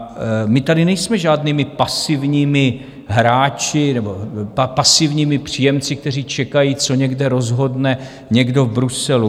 A my tady nejsme žádnými pasivními hráči nebo pasivními příjemci, kteří čekají, co někde rozhodne někdo v Bruselu.